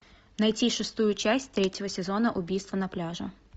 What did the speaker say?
найти шестую часть третьего сезона убийство на пляже